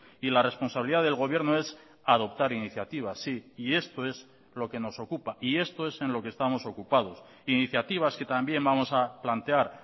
y la responsabilidad del gobierno es adoptar iniciativa sí y esto es lo que nos ocupa y esto es en lo que estamos ocupados iniciativas que también vamos a plantear